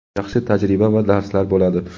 Yaxshi tajriba va darslar bo‘ladi.